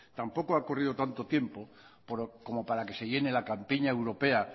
tampoco ha ocurrido tanto tiempo como para que se llene la campiña europea